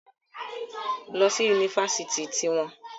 Lílọ́ si Yunifásitì tí wọ́n..